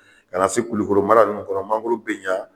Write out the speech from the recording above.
Ka na se Kulukɔrɔ mara ninnu kɔnɔ mangoro bɛ ɲa